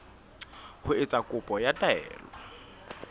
ho etsa kopo ya taelo